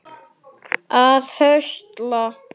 að höstla